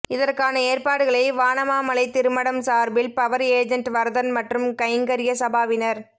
இதற்கான ஏற்பாடுகளை வானமாமலை திருமடம் சார்பில் பவர் ஏஜென்ட் வரதன் மற்றும் கைங்கர்ய சபாவினர்